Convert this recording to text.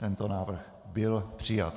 Tento návrh byl přijat.